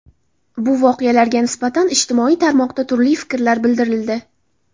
Bu voqealarga nisbatan ijtimoiy tarmoqda turli fikrlar bildirildi.